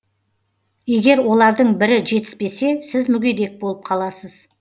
егер олардың бірі жетіспесе сіз мүгедек болып қаласыз